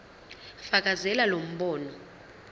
fakazela lo mbono